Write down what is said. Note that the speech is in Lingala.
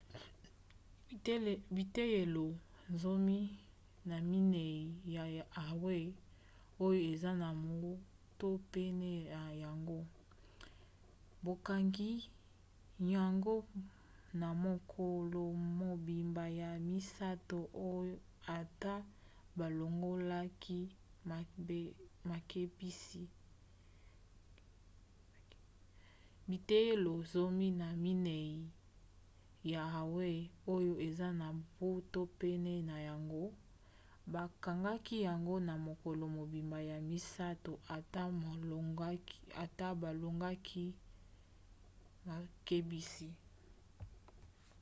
biteyelo zomi na mieni ya hawaï oyo eza na mbu to pene na yango bakangaki yango na mokolo mobimba ya misato ata balongolaki makebisi